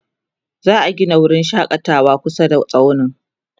za'a Gina wurin shakatawa kusa da tsaunin